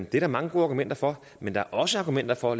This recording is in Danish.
der mange gode argumenter for men der er også argumenter for